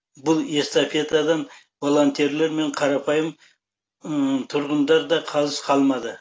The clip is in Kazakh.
бұл эстафетадан волонтерлер мен қарапайым тұрғындар да қалыс қалмады